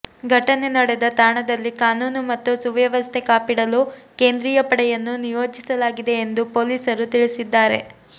ಘಟನೆ ನಡೆದ ತಾಣದಲ್ಲಿ ಕಾನೂನು ಮತ್ತು ಸುವ್ಯವಸ್ಥೆ ಕಾಪಿಡಲು ಕೇಂದ್ರೀಯ ಪಡೆಯನ್ನು ನಿಯೋಜಿಸಲಾಗಿದೆ ಎಂದು ಪೊಲೀಸರು ತಿಳಿಸಿದ್ದಾರೆ